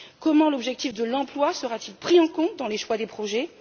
Comment l'objectif de l'emploi sera t il pris en compte dans le choix des projets?